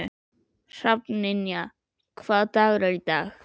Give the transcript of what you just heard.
Hrafnynja, hvaða dagur er í dag?